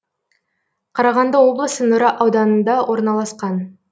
қарағанды облысы нұра ауданында орналасқан